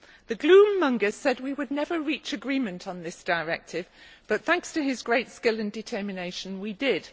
The gloom mongers said we would never reach agreement on this directive, but, thanks to his great skill and determination, we did.